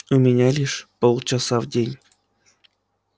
у меня лишь полчаса в день